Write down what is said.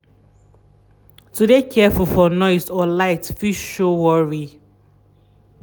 to de careful for noise or light fit show worry.